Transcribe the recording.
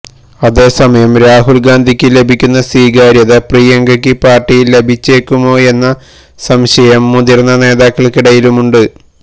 അതേ സമയം രാഹുൽ ഗാന്ധിക്ക് ലഭിക്കുന്ന സ്വീകാര്യത പ്രിയങ്കയ്ക്ക് പാർട്ടിയിൽ ലഭിച്ചേക്കുമോയെന്ന സംശയം മുതിർന്ന നേതാക്കൾക്കിടയിലുണ്ട്